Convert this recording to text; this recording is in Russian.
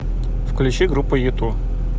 включи группу юту